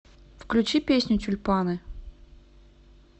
включи песню тюльпаны